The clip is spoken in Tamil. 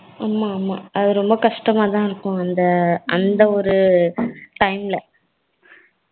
ஹம் அது ரொம்ப கஷ்டமா தான் இருக்கும் அந்த ஒரு time ல